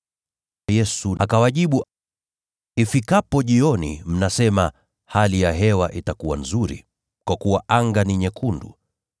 Yesu akawajibu, “Ifikapo jioni, mnasema, ‘Hali ya hewa itakuwa nzuri, kwa kuwa anga ni nyekundu.’